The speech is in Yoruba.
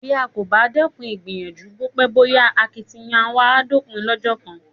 Bí a kò bá dẹ́kun ìgbìyànjú, bó pẹ́ bó yá akitiyan wa á dópin lọ́jọ́ kan.